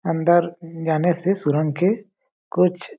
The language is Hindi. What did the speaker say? अन्दर जाने से सुरंग के कुछ--